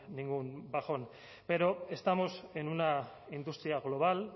ningún bajón pero estamos en una industria global